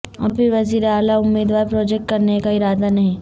ابھی وزیر اعلی امیدوار پروجیکٹ کرنے کا ارادہ نہیں